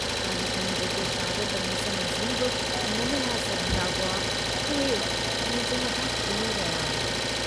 काल्ह ताईं जेके शागिर्द मूं सां नज़रूं बि न मिलाए सघंदा हुआ, उहे मुंहिंजे मथां खिली रहिया हुआ!